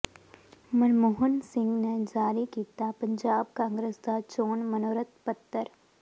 ਮਨਮੋਹਨ ਸਿੰਘ ਨੇ ਜਾਰੀ ਕੀਤਾ ਪੰਜਾਬ ਕਾਂਗਰਸ ਦਾ ਚੋਣ ਮਨੋਰਥ ਪੱਤਰ